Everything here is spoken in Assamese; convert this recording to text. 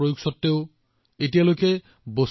আজি ভাৰতৰ অংশীদাৰীত্ব অতি কম